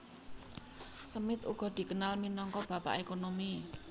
Smith uga dikenal minangka Bapak Ekonomi